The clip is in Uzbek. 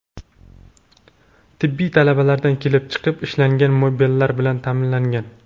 Tibbiy talablardan kelib chiqib ishlangan mebellar bilan ta’minlangan.